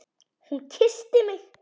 Hún kyssti mig!